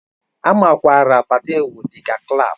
A makwaara Patewo dị ka Clap